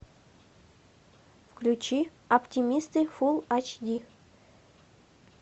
включи оптимисты фул ач ди